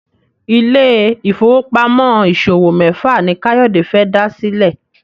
Ile-ifowopamọ ìṣòwò méfà ní Kayode fè dá sílè.